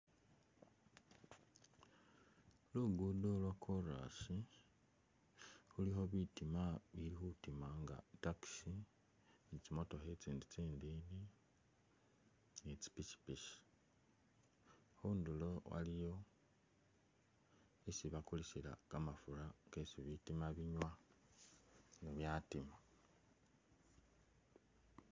Lugudo lwakolasi khulikho bitima bili khutima nga i'taxi ni tsi motookha e'tsindi tsindini, ni tsipikipiki khundulo waliyo esi bakulisila kamafura kesi bitima binywa ne byatima